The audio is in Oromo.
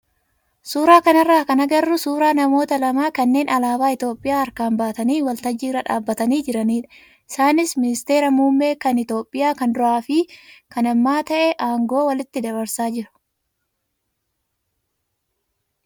suuraa kanarraa kan agarru suuraa namoota lama kanneen alaabaa Itoophiyaa harkaan baatanii waltajjii irra dhaabbatanii jiranidha. Isaanis ministeeta muummee kan Itoophiyaa kan duraa fi kan ammaa ta'ee aangoo walitti dabarsaa jiru.